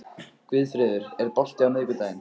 Guðfreður, er bolti á miðvikudaginn?